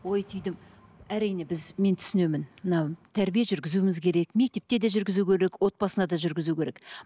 ой түйдім әрине біз мен түсінемін мына тәрбие жүргізуіміз керек мектепте де жүргізу керек отбасына да жүргізу керек